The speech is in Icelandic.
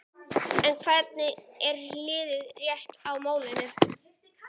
En hvað er hið rétta í málinu?